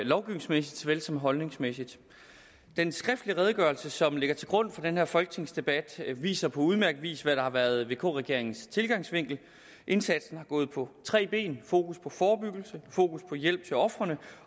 lovgivningsmæssigt som holdningsmæssigt den skriftlige redegørelse som ligger til grund for den her folketingsdebat viser på udmærket vis hvad der har været vk regeringens tilgangsvinkel indsatsen har gået på tre ben fokus på forebyggelse fokus på hjælp til ofrene